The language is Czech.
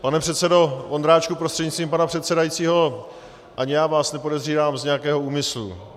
Pane předsedo Vondráčku prostřednictvím pana předsedajícího, ani já vás nepodezírám z nějakého úmyslu.